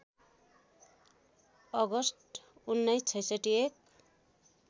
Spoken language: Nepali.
अगस्ट १९६६ एक